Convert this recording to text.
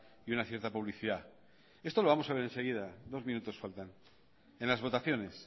y una cierta publicidad esto lo vamos a ver enseguida dos minutos faltan en las votaciones